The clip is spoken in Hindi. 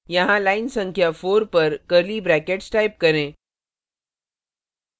यहाँ line संख्या 4 पर curly brackets type करें